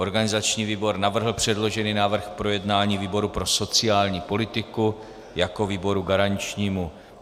Organizační výbor navrhl předložený návrh k projednání výboru pro sociální politiku jako výboru garančnímu.